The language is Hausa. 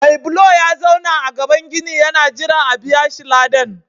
Mai bulo ya zauna a gaban ginin yana jiran a biya shi ladan.